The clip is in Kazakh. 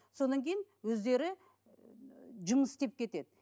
содан кейін өздері ііі жұмыс істеп кетеді